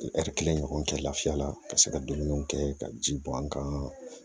kelen ɲɔgɔn kɛ lafiya la ka se ka dumuni kɛ ka ji bɔn an kan